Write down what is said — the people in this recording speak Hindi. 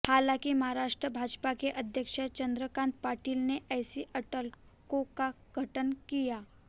हालांकि महाराष्ट्र भाजपा के अध्यक्ष चंद्रकांत पाटिल ने ऐसी अटकलों का खंडन किया